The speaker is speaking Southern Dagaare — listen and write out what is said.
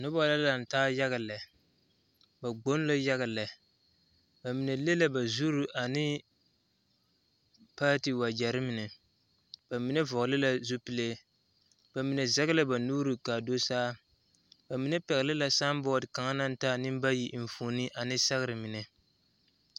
Noba laŋ taa yaga lɛ ba gboŋ la taa yaga lɛ ba mine le la ba zuri ane paati wagyɛre mine ba mine vɔgle zupile ba mine zɛge la ba nuuri ka a dosaa ba mine pɛgle la sambooti kaŋa naŋ taa nembayi enfuoni ane sɛgre mine.